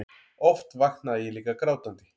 Oft vaknaði ég líka grátandi.